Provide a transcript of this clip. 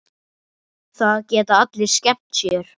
Það geta allir skemmt sér.